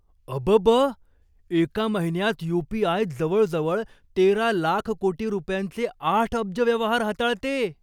अबब! एका महिन्यात यू.पी.आय. जवळजवळ तेरा लाख कोटी रुपयांचे आठ अब्ज व्यवहार हाताळते.